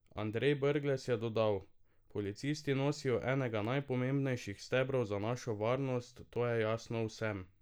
Andrej Brglez pa je dodal: "Policisti nosijo enega najpomembnejših stebrov za našo varnost, to je jasno vsem.